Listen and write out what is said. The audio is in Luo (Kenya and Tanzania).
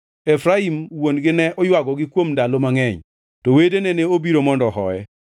Efraim wuon-gi ne oywagogi kuom ndalo mangʼeny, to wedene ne obiro mondo ohoye.